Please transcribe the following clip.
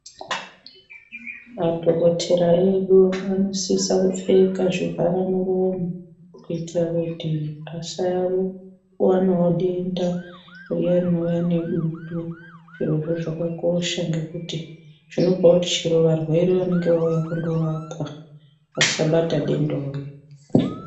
Madhokotera edu anosisa kupfeka zvivhara muromo. Kuitira kuti pasavanavo denda riya rinouya nedutu, zvirozvo zvakakosha, ngekuti zvinopa kuti chero varwere vanonga vauyavo kundorapwa vasabatavo dendawo iri.